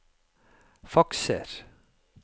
fakser